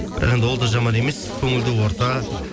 бірақ енді ол да жаман емес көңілді орта